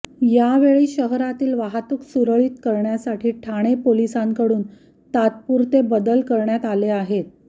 यावेळी शहरातील वाहतूक सुरळीत करण्यासाठी ठाणे पोलिसांकडून तात्पुरते बदल करण्यात आले आहेत